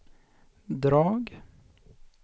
drag